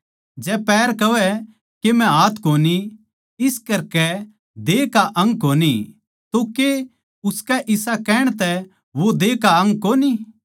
जै पैर कहवै के मै हाथ कोनी इस करकै देह का अंग कोनी तो के उसके इसा कहण तै वो देह का अंग कोनी